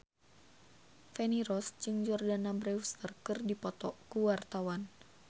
Feni Rose jeung Jordana Brewster keur dipoto ku wartawan